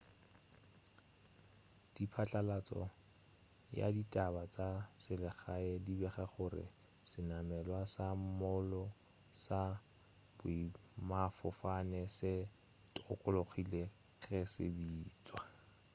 diphatlalatšo ya ditaba tša selegae di bega gore senamelwa sa moolo sa boemafofane se tokologile ge se bitšwa